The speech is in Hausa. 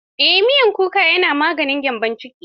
Miyar kuka na maganin gyambon ciki.